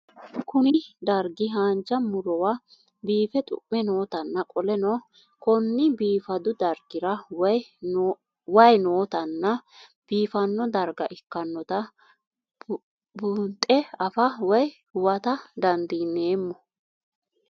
Kuni dargi hanja murowa bifee xu'me nootana qoleno konni bifadu dargira wayi nootana bifano darga ikinota bundhe afaa woyi huwata dandinemo?